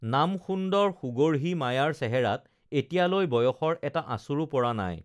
নাম সুন্দৰ সুগঢ়ী মায়াৰ চেহেৰাত এতিয়ালৈ বয়সৰ এটা আঁচোৰো পৰা নাই